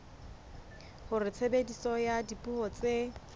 hore tshebediso ya dipuo tse